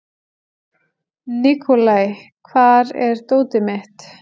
Nikolai, hvar er dótið mitt?